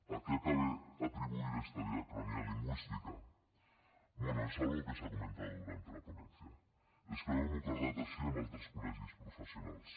a qué cabe atribuir esta diacronía lingüística bueno es algo que se ha comentado durante la ponencia és que ho hem acordat així amb altres col·legis professionals